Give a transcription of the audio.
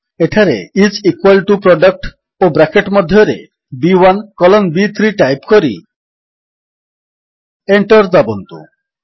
ଏଠାରେ is equal to product ଓ bracket ମଧ୍ୟରେ ବି1 କଲନ୍ ବି3 ଟାଇପ୍ କରି ଏଣ୍ଟର୍ ଦାବନ୍ତୁ